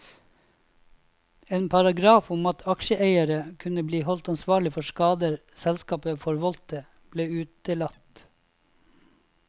En paragraf om at aksjeeiere kunne bli holdt ansvarlig for skader selskapet forvoldte, ble utelatt.